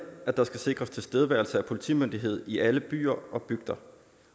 at der skal sikres tilstedeværelse af politimyndighed i alle byer og bygder